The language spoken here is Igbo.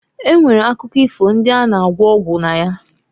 E nwere akụkọ ifo ndị a na- agwọ ọgwụ na ya.